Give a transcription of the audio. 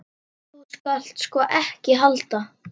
Þú skalt sko ekki halda.